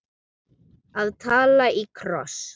Að tala í kross